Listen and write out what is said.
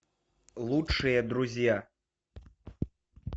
лучшие друзья